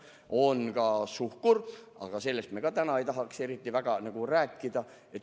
Ja on ka suhkur, aga sellestki me täna ei tahaks eriti rääkida.